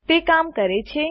તે કામ કરે છે